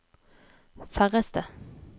færreste